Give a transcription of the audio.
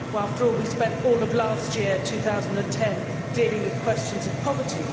After all, we spent all of last year, 2010, dealing with questions of poverty.